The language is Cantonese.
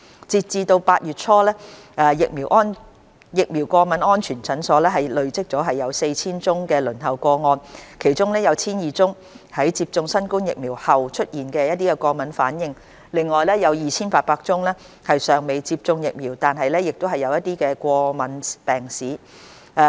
截至8月初，疫苗過敏安全門診已累積逾 4,000 宗輪候個案，其中約 1,200 宗在接種新冠疫苗後出現過敏反應，另外約 2,800 宗尚未接種疫苗但有過敏病史。